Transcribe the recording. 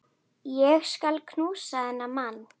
Ég skal knúsa þennan mann!